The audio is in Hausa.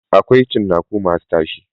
Akwai cinnaku masu tashi.